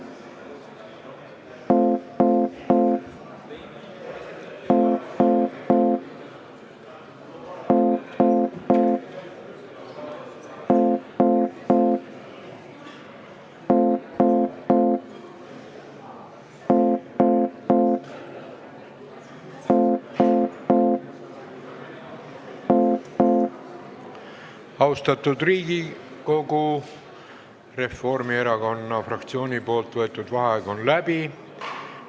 Austatud Riigikogu, Reformierakonna fraktsiooni võetud vaheaeg on läbi.